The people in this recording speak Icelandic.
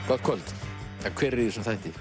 gott kvöld hver er í þessum þætti